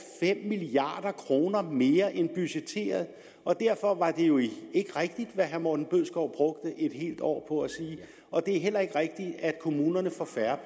fem milliard kroner mere end budgetteret og derfor var det jo ikke rigtigt hvad herre morten bødskov brugte et helt år på at sige og det er heller ikke rigtigt at kommunerne får færre